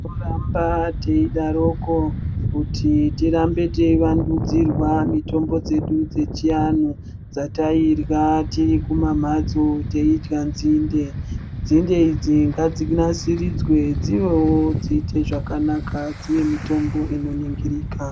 Kuramba teidaroko kuti tirambe teiwandudzirwa mitombo dzedu dzechianhu dzetairya tiri kumamhatso, teidya nzinde. Nzinde idzi ngadzinasiridzwe dzivewo dziite zvakanaka dzive mitombo inoningirika.